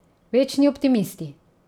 Večni optimisti.